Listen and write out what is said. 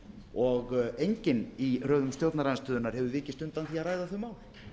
og enginn í röðum stjórnarandstöðunnar hefur vikist undan því að ræða þau mál